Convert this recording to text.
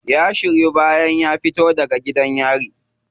Ya shiryu bayan ya fito daga gidan yari.